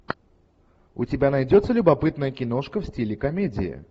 у тебя найдется любопытная киношка в стиле комедии